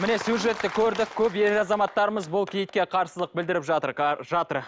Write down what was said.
міне сюжетті көрдік көп ер азаматтарымыз бұл киітке қарсылық білдіріп жатыр